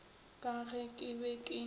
ka ge ke be ke